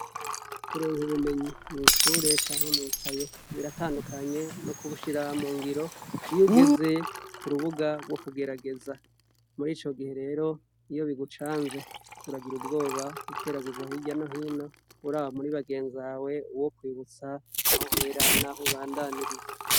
Kuronka ubumenyi mw'ishure canke mwikaye biratandukanye no kubushira mu ngiro iyo ugeze ku rubuga rwo kugerageza muri ico gihe rero iyo bigucanze uragira ubwoba ukeraguza hirya no hino uraba muri bagenzi bawe uwo kwibutsa aho uhera, naho ubandaniriza.